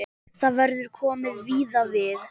Þar verður komið víða við.